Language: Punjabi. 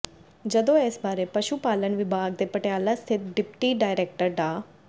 ਜਦੋਂ ਇਸ ਬਾਰੇ ਪਸ਼ੂ ਪਾਲਣ ਵਿਭਾਗ ਦੇ ਪਟਿਆਲਾ ਸਥਿਤ ਡਿਪਟੀ ਡਾਇਰੈਕਟਰ ਡਾ